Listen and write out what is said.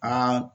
An